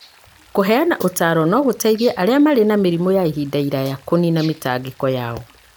Kũheana ũtaaro no gũteithie arĩa marĩ na mĩrimũ ya ihinda iraya kũniina mĩtangĩko yao.